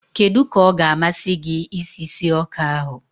kedu ka ọ ga-amasị gị isi sie ọka ahụ?